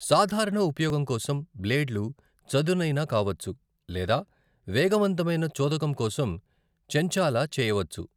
సాధారణ ఉపయోగం కోసం బ్లేడ్లు చదునైనా కావచ్చు లేదా వేగవంతమైన చోదకం కోసం చెంచాలా చేయవచ్చు.